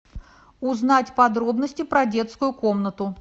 узнать подробности про детскую комнату